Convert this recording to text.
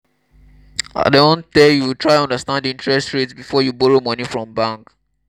i don tell you try understand interest rate before you borrow moni from bank.